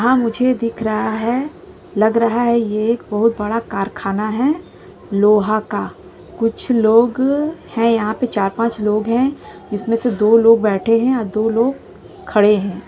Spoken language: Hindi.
हाँ मुझे दिख रहा है। लग रहा है के ये बहुत बड़ा कारखाना है। लोहा का। कुछ लोग हैं यहाँ पर चार पांच लोग है। जिसमे से दो लोग बैठे है। और दो लोग खड़े है। हैं।